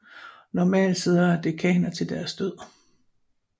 Normalt sidder dekaner til deres død